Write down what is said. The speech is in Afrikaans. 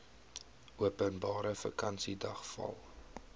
openbare vakansiedag val